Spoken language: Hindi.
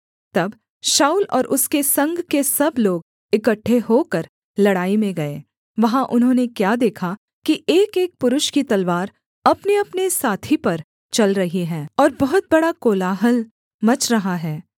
तब शाऊल और उसके संग के सब लोग इकट्ठे होकर लड़ाई में गए वहाँ उन्होंने क्या देखा कि एकएक पुरुष की तलवार अपनेअपने साथी पर चल रही है और बहुत बड़ा कोलाहल मच रहा है